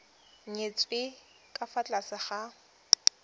nyetswe ka fa tlase ga